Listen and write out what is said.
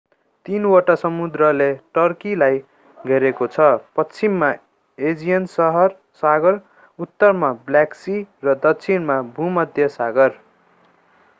तीनवटा समुद्रले टर्कीलाई घेरेको छ पश्चिममा एजियन सागर उत्तरमा ब्ल्याक सी र दक्षिणमा भूमध्य सागर